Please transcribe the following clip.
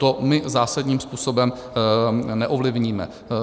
To my zásadním způsobem neovlivníme.